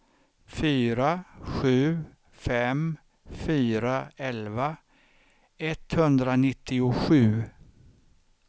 fyra sju fem fyra elva etthundranittiosju